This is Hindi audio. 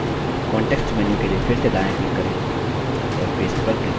context menu के लिए फिर से दायाँclick करें और paste पर click करें